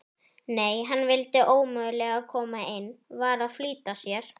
Nei, hann vildi ómögulega koma inn, var að flýta sér.